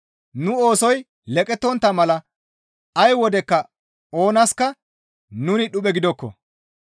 Nu oosoy leqettontta mala ay wodekka oonaska nuni dhuphe gidokko.